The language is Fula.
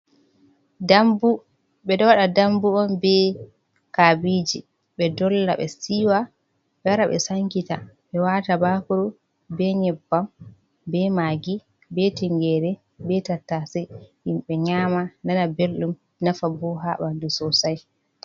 Dambu, ɓe ɗo wda dambu on be kabiji ɓe dolla, ɓe siwa, ɓe wara ɓe sankita, ɓe wata bakuru, be nyebbam, be magi, be tingere, be tattase himɓe nyama nana belɗum. Ɗo nafa bo ha ɓandu sosai.